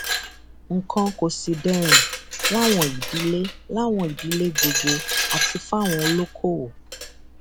nǹkan kò sì dẹrùn láwọn ìdílé láwọn ìdílé gbogbo àti fáwọn olókoòwò